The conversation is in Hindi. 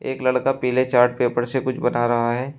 एक लड़का पीले चार्ट पेपर से कुछ बना रहा है।